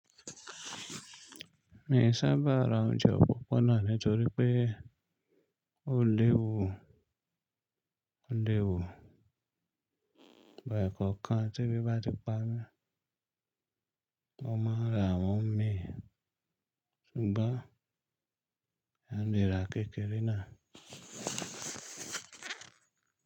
Mi ò sábà ra oúnjẹ òpópónà nítorí pé ó léwu, ó léwu. Ìgbà ẹ̀kọ́ kan te bí bá ti pami, mo máa ń ra wọn mi ṣùgbọ́n a lè ra kékeré náà.